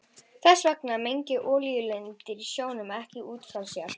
Þess vegna menga olíulindir í sjónum ekki út frá sér.